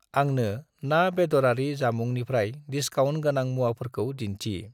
आंनो ना-बेदरारि जामुंनिफ्राय डिसकाउन्ट गोनां मुवाफोरखौ दिन्थि।